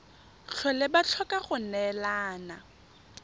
tlhole ba tlhoka go neelana